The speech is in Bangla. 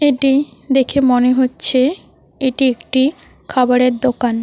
এটি দেখে মনে হচ্ছে এটি একটি খাবারের দোকান।